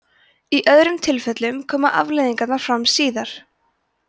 í öðrum tilfellum koma afleiðingarnar fram síðar